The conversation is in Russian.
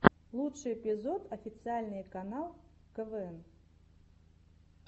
лучший эпизод официальный канал квн